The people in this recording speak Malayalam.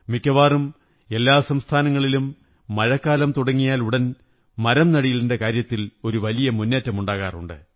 മിക്കവാറും എല്ലാ സംസ്ഥാനങ്ങളിലും മഴക്കാലം തുടങ്ങിയാലുടൻ മരംനടീലിന്റെ കാര്യത്തിൽ ഒരു വലിയ മുന്നേറ്റമുണ്ടാകാറുണ്ട്